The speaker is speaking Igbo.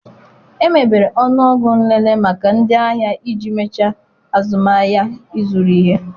Emebere ọnụọgụ nlele maka ndị ahịa iji mechaa azụmahịa ịzụrụ ihe